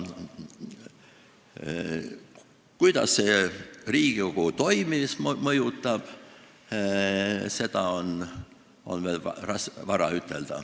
Kuidas see Riigikogu toimimist mõjutab, seda on veel vara ütelda.